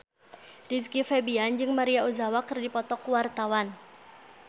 Rizky Febian jeung Maria Ozawa keur dipoto ku wartawan